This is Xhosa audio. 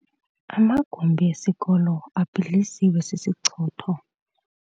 Amagumbi esikolo abhidlizwe sisichotho.